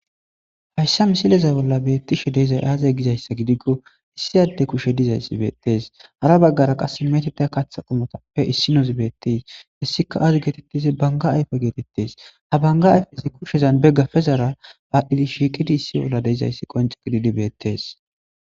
Hayissa misile bolla betizayi aze gikko iss ade kushe dizayisi betesi harra baggara qassi Katha qomoppe issinozi bettesi hesika aze getetidda gidikko banigga ayife getetesi ha banigga ayifezi kushezani gafezara shiqidi issi urra dizayis qoniccidi bettesi